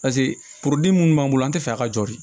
Paseke minnu b'an bolo an tɛ fɛ a ka jeli